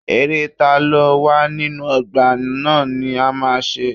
Eré taló wà nínú ọgbà ná ni a ma ṣe.